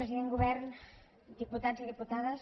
president govern diputats i diputades